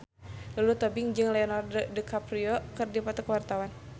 Lulu Tobing jeung Leonardo DiCaprio keur dipoto ku wartawan